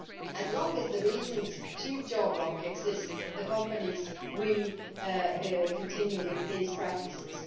As long as the reasons to geo block exist the companies will continue with these practices.